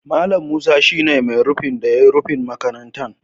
Mallam Musa shi ne mai rufin da ya yi rufin makarantar.